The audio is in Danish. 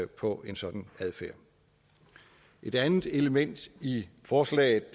på en sådan adfærd et andet element i forslaget